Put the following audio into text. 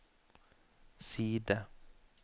side